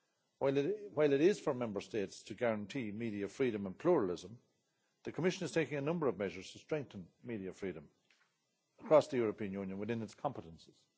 While it is for Member States to guarantee media freedom and pluralism, the Commission is taking a number of measures to strengthen media freedom across the European Union within its competences.